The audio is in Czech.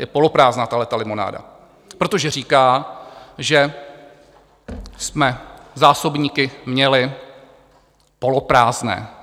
Je poloprázdná tahleta limonáda, protože říká, že jsme zásobníky měli poloprázdné.